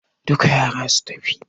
Duka yara su tafi!